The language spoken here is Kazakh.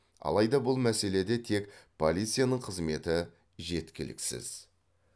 алайда бұл мәселеде тек полицияның қызметі жеткіліксіз